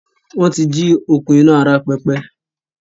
Wọ́n ti jí òkun iná ara pẹpẹ